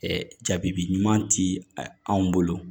jabi ɲuman ti anw bolo